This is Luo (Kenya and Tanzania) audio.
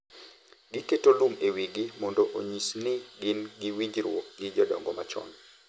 Giketo lum e wigi mondo onyis ni gin gi winjruok gi jodongo machon.